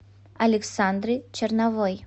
александры черновой